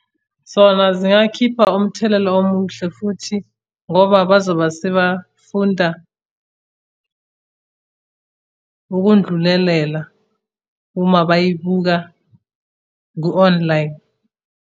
Zona ziyakhipha umthelela omuhle futhi ngoba bazoba sebafunda ukundlulelela uma bayibuka ku-online.